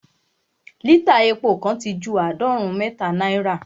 lítà epo kan ti ju àádọ́rùn-ún mẹ́ta naira